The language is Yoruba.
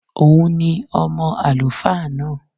Òun ni ọmọ àlùfáà náà